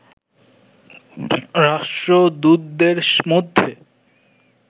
রাষ্ট্রদূতদের মধ্যে